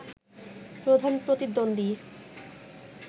প্রধান প্রতিদ্বন্দী